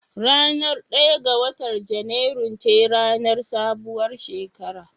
Ranar ɗaya ga watan junairu ce ranar sabuwar shekara